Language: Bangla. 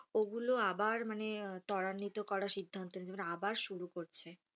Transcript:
ওগুলো আবার মানে ত্বরান্বিত করার সিদ্ধান্ত নিয়েছে মানে আবার শুরু করছে।